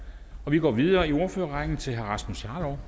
vi går videre i ordførerrækken til herre rasmus jarlov